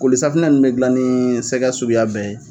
Kolisafunɛ ninnu bɛ dilan ni sɛgɛ suguya bɛɛ ye!